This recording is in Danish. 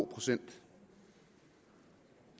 procent det